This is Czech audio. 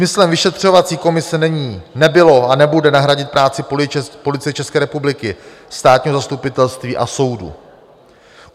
Smyslem vyšetřovací komise není, nebylo a nebude nahradit práci Policie České republiky, Státního zastupitelství a soudů.